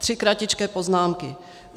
Tři kratičké poznámky.